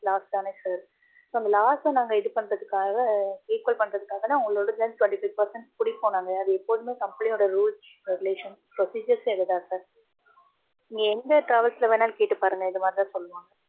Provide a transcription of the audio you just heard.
loss தானே sir. so அந்த loss அ நாங்க இது பண்றதுக்காக, equal பண்றதுக்காகதா உங்களோடதுலேந்து இருந்து நாங்க twenty five percent புடிப்போம் நாங்க. அது எப்போதுமே company யோட rules regulations procedures ஏ அதுதா sir. இங்க எந்த travels ல வேணாலும் கேட்டு பாருங்க, இது மாதிரி தான் சொல்லுவாங்க.